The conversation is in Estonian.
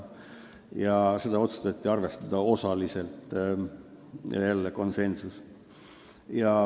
a. Seda otsustati arvestada osaliselt ja jälle oli komisjonis konsensus.